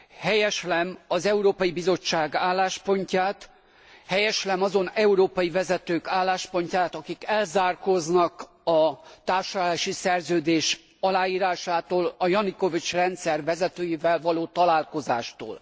Helyeslem az Európai Bizottság álláspontját, helyeslem azon európai vezetők álláspontját, akik elzárkóznak a társulási szerződés aláírásától, a Janukovics rendszer vezetőivel való találkozástól.